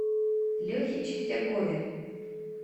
лехе чистякове